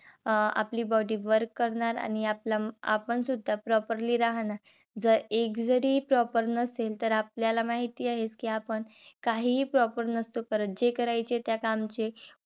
अं आपली body work करणार आणि आपल आपण सुद्धा properly राहणार. जर एक जरी proper नसेल तर आपल्याला माहिती आहेच. कि आपण काहीही proper नसतो करत. जे करायचे त्या कामचे